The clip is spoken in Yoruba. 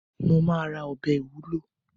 Mo ma ra ọbẹ̀ ìwúlò